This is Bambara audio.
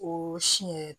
O si yɛrɛ